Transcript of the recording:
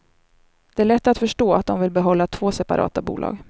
Det är lätt att förstå att de vill behålla två separata bolag.